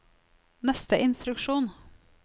neste instruksjon